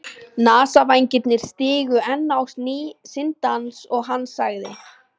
Nasavængirnir stigu enn á ný sinn dans og hann sagði